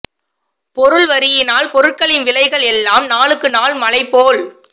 பொருள்வரியினால் பொருட்களின் விலைகள் எல்லாம் நாளுக்கு நாள் மலை போல்